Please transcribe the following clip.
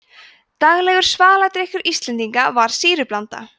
daglegur svaladrykkur íslendinga var sýrublanda